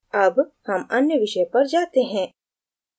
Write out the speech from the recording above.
अब हम अन्य विषय पर जाते हैं